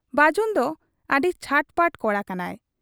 ᱵᱟᱹᱡᱩᱱ ᱫᱚ ᱟᱹᱰᱤ ᱪᱷᱟᱴᱯᱟᱴ ᱠᱚᱲᱟ ᱠᱟᱱᱟᱭ ᱾